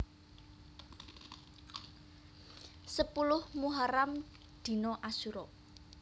Sepuluh Muharram Dina Asyura